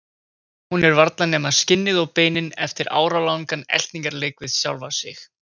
Hún er varla nema skinnið og beinin eftir áralangan eltingarleik við sjálfa sig.